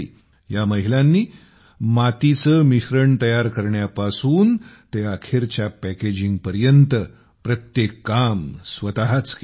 या महिलांनी मातीचे मिश्रण तयार करण्यापासून ते अखेरच्या पॅकेजिंगपर्यंत प्रत्येक काम स्वतःच केले